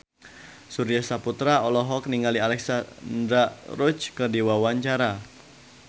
Surya Saputra olohok ningali Alexandra Roach keur diwawancara